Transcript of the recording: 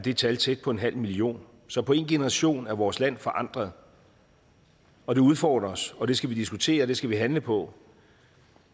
et tal tæt på en halv million så på en generation er vores land forandret og det udfordrer os og det skal vi diskutere det skal vi handle på